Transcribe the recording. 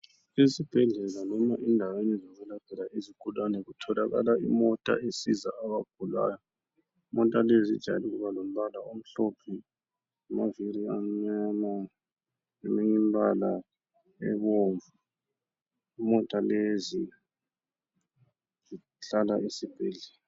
Esibhedlela noma endaweni zokwelaphela izigulane kutholakala imota ezisiza abagulayo. Imota lezi zijayele ukuba lombala omhlophe, lamaviri amnyama leminyimbala ebomvu. Imota lezi zihlala esibhedlela.